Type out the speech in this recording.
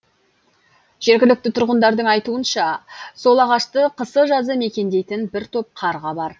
жергілікті тұрғындардың айтуынша сол ағашты қысы жазы мекендейтін бір топ қарға бар